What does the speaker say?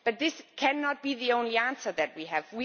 But this cannot be the only answer that we have.